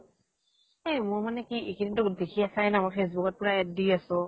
এ মোৰ মানে কি এই কেইদিন টো নামত facebook ত পৰা ad দি আছো।